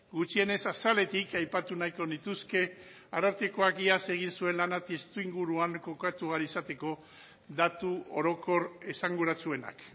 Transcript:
gutxienez azaletik aipatu nahiko nituzke arartekoak iaz egin zuen lana testuinguruan kokatu ahal izateko datu orokor esanguratsuenak